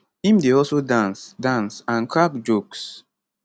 im dey also dance dance and crack jokes